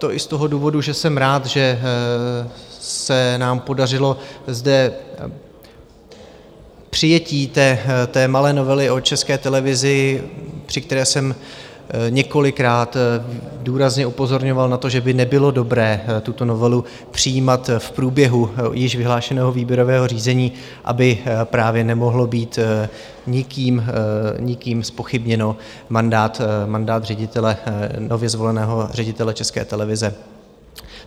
To i z toho důvodu, že jsem rád, že se nám podařilo zde přijetí té malé novely o České televizi, při které jsem několikrát důrazně upozorňoval na to, že by nebylo dobré tuto novelu přijímat v průběhu již vyhlášeného výběrového řízení, aby právě nemohl být nikým zpochybněn mandát nově zvoleného ředitele České televize.